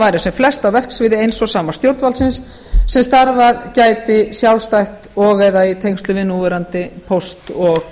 væru sem flest á verksviði eins og sama stjórnvaldsins sem starfað gæti sjálfstætt og eða í tengslum við núverandi póst og